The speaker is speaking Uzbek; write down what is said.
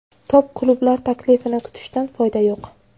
Top klublar taklifini kutishdan foyda yo‘q.